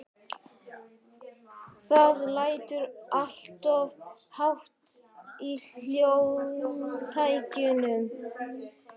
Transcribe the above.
Það lætur alltof hátt í hljómtækjunum.